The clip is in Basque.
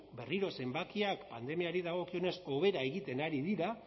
berriro zenbakiak pandemiari dagokionez hobera egiten ari dira